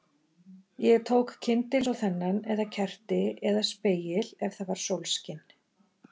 Ég tók kyndil eins og þennan eða kerti, eða spegil ef það var sólskin